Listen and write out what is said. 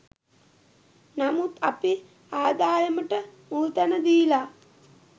නමුත් අපි ආදායමට මුල්තැන දීලා